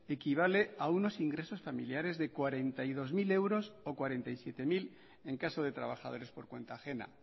equivale a unos ingresos familiares de cuarenta y dos mil euros o cuarenta y siete mil en caso de trabajadores por cuenta ajena